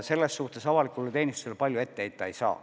Selles suhtes avalikule teenistusele palju ette heita ei saa.